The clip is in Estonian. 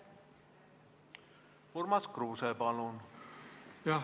Urmas Kruuse, palun!